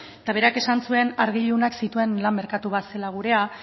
eta berak esan zuen argi ilunak zituen lan merkatu bat zela gurea